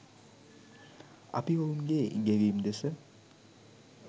අපි ඔවුන්ගේ ගෙවීම් දෙස